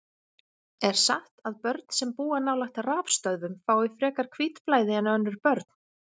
Er satt að börn sem búa nálægt rafstöðvum fái frekar hvítblæði en önnur börn?